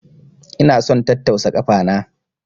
Ina son tattausa kafa na.